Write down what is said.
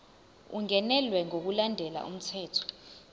ungenelwe ngokulandela umthetho